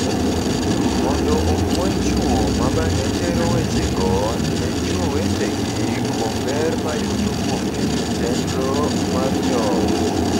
mondo opuonj chwo ma bang’e tero wechego ne chwo wetegi kuom ber ma yudo kuom keto chenro mar joot.